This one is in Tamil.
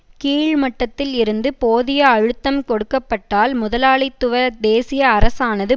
கீழ்மட்டத்தில் இருந்து போதிய அழுத்தம் கொடுக்க பட்டால் முதலாளித்துவ தேசிய அரசானது